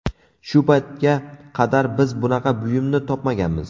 Shu paytga qadar biz bunaqa buyumni topmaganmiz.